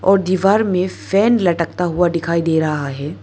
और दीवार में फैन लटकता हुआ दिखाई दे रहा है।